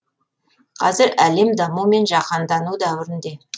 қазір әлем даму мен жақандану дәуірінде